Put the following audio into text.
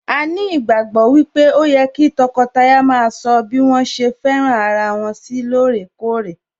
A ní ìgbàgbọ́ wípé ó yẹ kí tọkọtaya maa sọ bí àwọn ṣe fẹ́ràn ara wọn sí lóòrèkórè